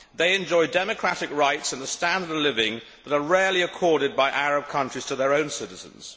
They enjoy democratic rights and a standard of living that are rarely accorded by Arab countries to their own citizens.